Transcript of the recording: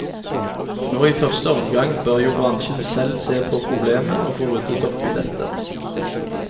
Nå i første omgang bør jo bransjen selv se på problemet, og få ryddet opp i dette.